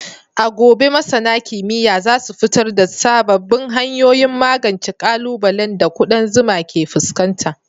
A gobe, masana kimiyya za su fitar da sabbin hanyoyin magance ƙalubalen da ƙudan zuma ke fuskanta.